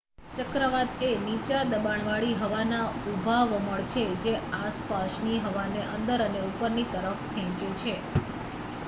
ચક્રવાત એ નીચા દબાણવાળી હવાના ઊભા વમળ છે જે આસપાસની હવાને અંદર અને ઉપરની તરફ ખેંચે છે